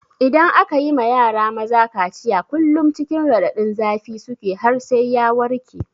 Idan aka yi ma yara maza kaciya kullum cikin raɗadin zafi suke har sai ya warke.